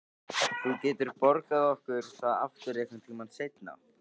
Þú getur borgað okkur það aftur einhvern tíma seinna.